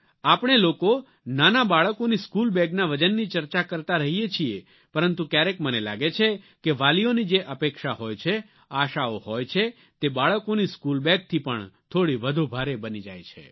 આપણે લોકો નાનાં બાળકોની સ્કૂલ બેગના વજનની ચર્ચા કરતા રહીએ છીએ પરંતુ ક્યારેક મને લાગે છે કે વાલીઓની જે અપેક્ષા હોય છે આશાઓ હોય છે તે બાળકોની સ્કૂલ બેગથી પણ થોડી વધુ ભારે બની જાય છે